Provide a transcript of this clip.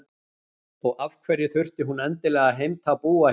Og af hverju þurfti hún endilega að heimta að búa hjá